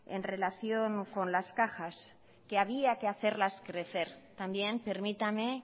en relación con las cajas que había que hacerlas crecer también permítame